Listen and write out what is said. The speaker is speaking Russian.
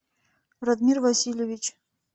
радмир васильевич